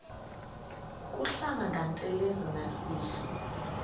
kuhlamba ngantelezi nasidlo